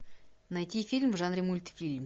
найти фильм в жанре мультфильм